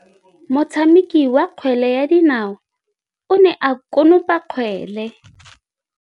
Motshameki wa kgwele ya dinaô o ne a konopa kgwele.